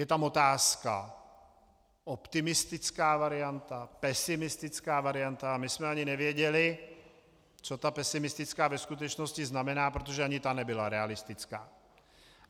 Je tam otázka optimistická varianta, pesimistická varianta, a my jsme ani nevěděli, co ta pesimistická ve skutečnosti znamená, protože ani ta nebyla realistická.